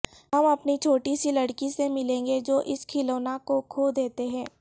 ہم اپنی چھوٹی سی لڑکی سے ملیں گے جو اس کھلونا کو کھو دیتے ہیں